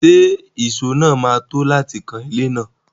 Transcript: Ṣé ìṣó náà máa tó láti kan ilé náà?